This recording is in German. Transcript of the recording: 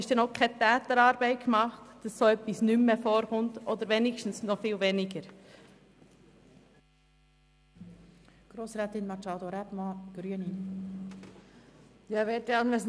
Damit ist aber noch keine Täterarbeit geleistet, sodass so etwas nicht mehr oder wenigsten viel weniger häufig vorkommt.